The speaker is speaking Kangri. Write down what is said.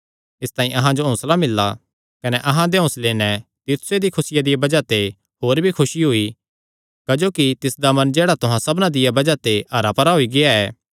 इसतांई अहां जो हौंसला मिल्ला कने अहां दे इस हौंसले नैं तीतुसे दिया खुसिया दिया बज़ाह ते होर भी खुसी होई क्जोकि तिसदा मन जेह्ड़ा तुहां सबना दिया बज़ाह ते हरा भरा होई गेआ ऐ